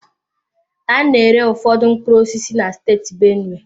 A na-ere ụfọdụ mkpụrụ osisi na steeti benue.